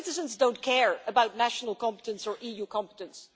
Our citizens don't care about national competence or EU competence.